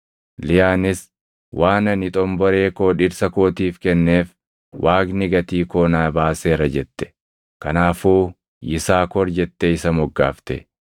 Liyaanis, “Waan ani xomboree koo dhirsa kootiif kenneef Waaqni gatii koo naa baaseera” jette. Kanaafuu Yisaakor jettee isa moggaafte.